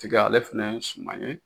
Tika ale fɛnɛ sumanen